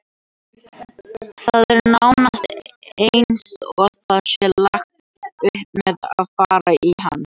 Það er nánast eins og það sé lagt upp með að fara í hann.